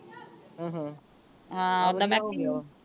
ਆਹਾਂ ਹਾਂ ਓਦਾਂ